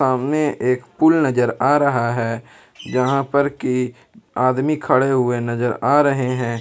सामने एक पूल नजर आ रहा है जहां पर की आदमी खड़े हुए नजर आ रहे हैं।